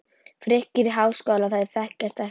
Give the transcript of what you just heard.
Frikki er í Háskólanum, þeir þekkjast ekki.